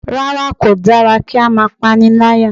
Rárá kò dára kí á máa pániláyà